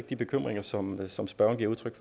de bekymringer som som spørgeren giver udtryk